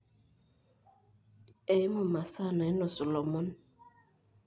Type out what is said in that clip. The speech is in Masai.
Eimu masaa nainosu lomon.